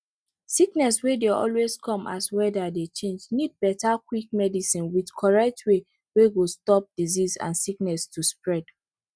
sickness wey dey always dey come as weather dey change need better quick medicine with correct way wey go stop disease and sickness to spread